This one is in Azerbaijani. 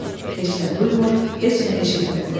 Heç nə duymur, heç nə eşitmirdi.